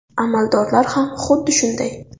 Amaldorlar ham xuddi shunday.